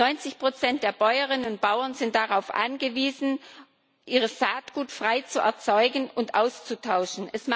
90 der Bäuerinnen und Bauern sind darauf angewiesen, ihr Saatgut frei zu erzeugen und auszutauschen.